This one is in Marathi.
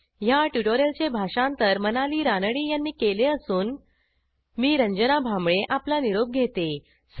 ह्या ट्युटोरियलचे भाषांतर मनाली रानडे यांनी केले असून मी रंजना भांबळे आपला निरोप घेते160